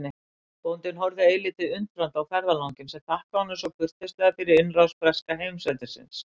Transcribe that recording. Bóndinn horfði eilítið undrandi á ferðalanginn sem þakkaði honum svo kurteislega fyrir innrás breska heimsveldisins.